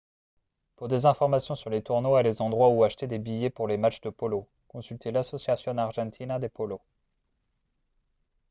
pour des informations sur les tournois et les endroits où acheter des billets pour les matchs de polo consultez l'asociacion argentina de polo